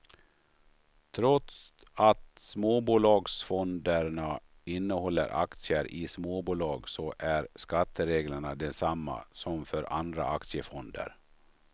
Trots att småbolagsfonderna innehåller aktier i småbolag så är skattereglerna desamma som för andra aktiefonder.